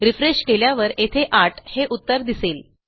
refresh केल्यावर येथे 8 हे उत्तर दिसेल